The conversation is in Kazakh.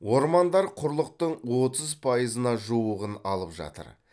ормандар құрлықтың отыз пайызына жуығын алып жатыр